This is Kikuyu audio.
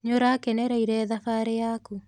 Nĩũrakenereire thabarĩ yaku?